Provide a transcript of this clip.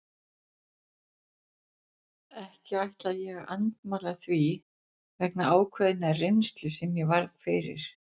Ekki ætla ég að andmæla því vegna ákveðinnar reynslu sem ég varð fyrir.